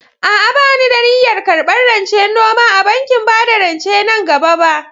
A'a, ba ni da niyyar karɓar rancen noma a bankin bada rance nan gaba ba.